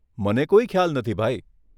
મને કોઈ ખ્યાલ નથી, ભાઈ.